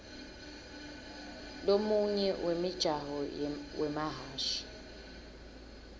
lomunye wemijaho wemahhashi